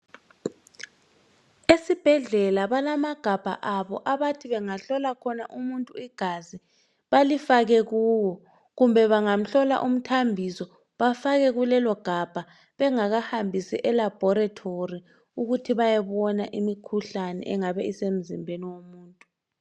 Esibhedlela balamagabha abo abathi bangahlola khona umuntu igazi balifake kuwo kumbe bangamhlola umthambiso bafake kulelo gabha bengakahambisi elebhorethori ukuthi bayebona imikhuhlane engabe isemzimbeni womuntu